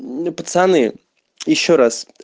ну пацаны ещё раз